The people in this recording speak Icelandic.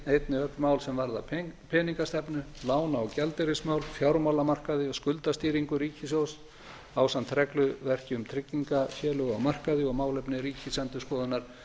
einnig öll mál sem varða peningastefnu lána og gjaldeyrismál fjármálamarkaði og skuldastýringu ríkissjóðs ásamt regluverki um tryggingasölu á markaði og málefni ríkisendurskoðunar